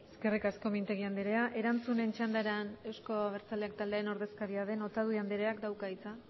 eskerrik asko mintegi anderea erantzunen txandara euzko abertzaleak taldearen ordezkaria den otadui andereak dauka hitza